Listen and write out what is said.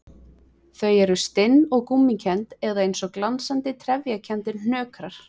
Þau eru stinn og gúmmíkennd eða eins og glansandi, trefjakenndir hnökrar.